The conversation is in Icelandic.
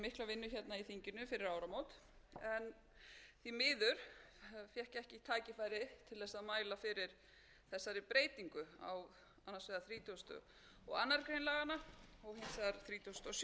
í gegnum mikla vinnu hérna í þinginu fyrir áramót en því miður fékk ég ekki tækifæri til þess að mæla fyrir þessari breytingu á annars vegar þrítugasta og aðra grein laganna og hins vegar þrítugasta og